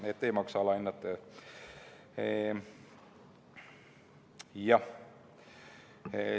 Nii et ei maksa alahinnata.